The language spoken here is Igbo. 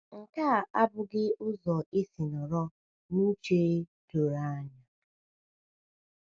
.Nke a abụghị ụzọ esi nọrọ n’uche um doro anya.